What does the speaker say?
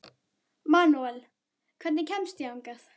Manuel, hvernig kemst ég þangað?